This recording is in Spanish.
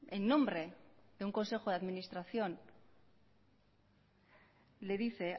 en nombre de un consejo de administración le dice